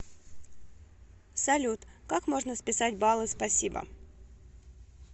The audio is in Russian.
салют как можно списать баллы спасибо